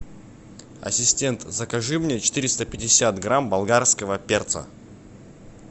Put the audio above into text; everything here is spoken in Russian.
ассистент закажи мне четыреста пятьдесят грамм болгарского перца